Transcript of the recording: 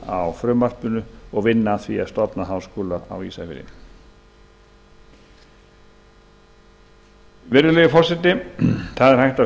styðja frumvarpið og vinna að því að stofna háskóla á ísafirði virðulegi forseti það er hægt að